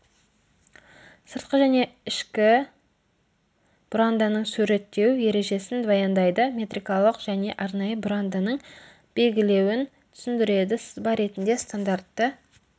сыртқы және ішкі бұранданың суреттеу ережесін баяндайды метрикалық және арнайы бұранданың белгілеуін түсіндіреді сызба бетінде стандартты